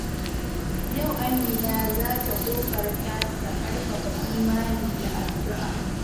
Yau Amina za ta ƙoƙarta ta ƙarfafa imani da addu’a.